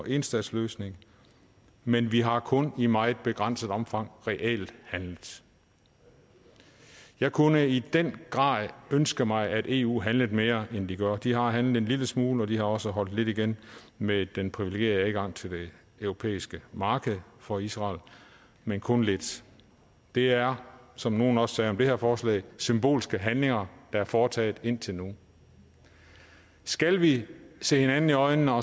enstatsløsning men vi har kun i meget begrænset omfang reelt handlet jeg kunne i den grad ønske mig at eu handlede mere end de gør de har handlet en lille smule og de har også holdt lidt igen med den privilegerede adgang til det europæiske marked for israel men kun lidt det er som nogle også sagde om det her forslag symbolske handlinger der er foretaget indtil nu skal vi se hinanden i øjnene og